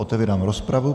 Otevírám rozpravu.